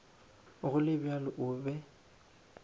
go le bjalo o be